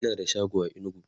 Ina da shago a inugu